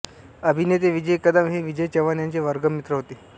अभिनेते विजय कदम हे विजय चव्हाण यांचे वर्गमित्र होते